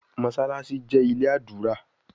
Mossalassi jé ilé ádùrá